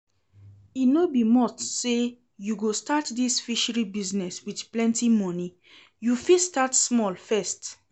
E no be must say you go start dis fishery business with plenty money, you fit start small first